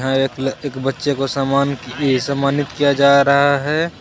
यहाँ एक ल एक बच्चे को सन्मान इ सन्मानित किया जा रहा हे.